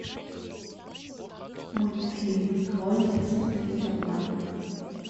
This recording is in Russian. мультфильм тролли смотреть онлайн